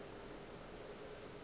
ka ge a šetše a